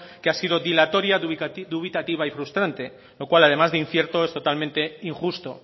que ha sido dilatoria dubitativa y frustrante lo cual además de incierto es totalmente injusto